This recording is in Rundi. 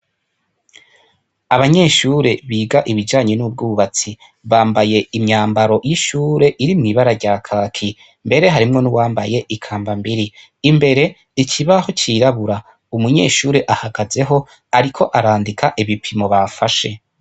Abanyeshure biga ibijanye n'ubwubatsi, bambaye imyambaro y'ishure iri mw'ibara rya kaki, mbere harimwo nuwambaye ikambambiri, imbere ikibaho c'irabura umunyeshure ahagazeho ariko arandika ibipimo bafashe.